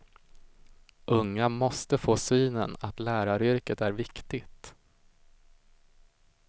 Unga måste få synen att läraryrket är viktigt.